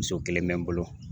Muso kelen bɛ n bolo